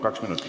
Kaks minutit.